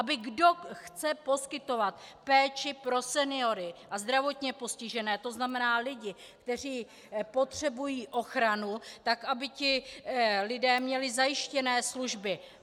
Aby kdo chce poskytovat péči pro seniory a zdravotně postižené, to znamená lidi, kteří potřebují ochranu, tak aby ti lidé měli zajištěné služby.